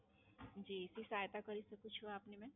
જી, શું સહાયતા કરી શકું છું આપની મેમ?